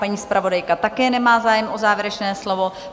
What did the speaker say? Paní zpravodajka také nemá zájem o závěrečné slovo.